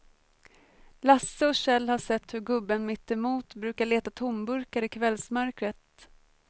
Lasse och Kjell har sett hur gubben mittemot brukar leta tomburkar i kvällsmörkret.